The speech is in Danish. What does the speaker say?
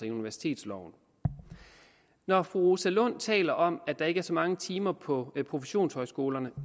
i universitetsloven når fru rosa lund taler om at der ikke er så mange timer på professionshøjskolerne